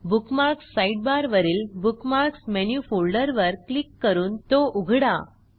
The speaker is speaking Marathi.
बुकमार्क्स साइडबार वरील बुकमार्क्स मेनू फोल्डरवर क्लिक करून तो उघडा